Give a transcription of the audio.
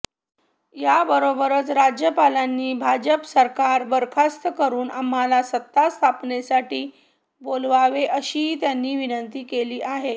याबरोबरच राज्यपालांनी भाजप सरकार बरखास्त करून आम्हाला सत्ता स्थापनेसाठी बोलवावे अशी त्यांनी विनंती केली आहे